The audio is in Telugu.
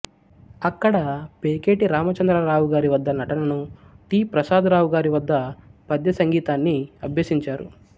అక్కడ పేకేటి రామచంద్రరావు గారి వద్ద నటనను టి ప్రసాదరావు గారి వద్ద పద్య సంగీతాన్ని అభ్యసించారు